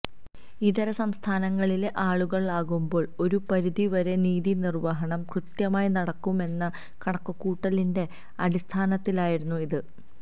ഇതര സംസ്ഥാനങ്ങളിലെ ആളുകളാകുമ്പോൾ ഒരുപരിധി വരെ നീതി നിർവ്വഹണം കൃത്യമായി നടക്കുമെന്ന കണക്കുകൂട്ടലിന്റെ അടിസ്ഥാനത്തിലായിരുന്നു ഇത്